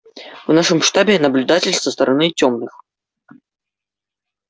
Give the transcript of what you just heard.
в нашем штабе наблюдатель со стороны тёмных